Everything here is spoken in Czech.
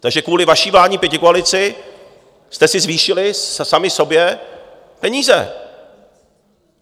Takže kvůli vaší vládní pětikoalici jste si zvýšili sami sobě peníze.